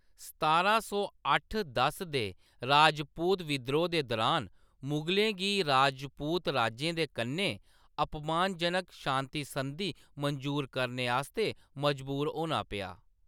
सतारां सौ अट्ठ दस दे राजपूत बिद्रोह् दे दुरान, मुगलें गी राजपूत राजें दे कन्नै अपमानजनक शान्ति संधी मंजूर करने आस्तै मजबूर होना पेआ।